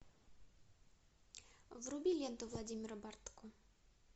вруби ленту владимира бортко